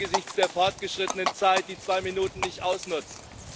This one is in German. Ich werde angesichts der fortgeschrittenen Zeit die zwei Minuten nicht ausnutzen.